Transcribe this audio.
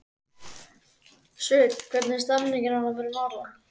Sveinn, hvernig er stemningin fyrir norðan?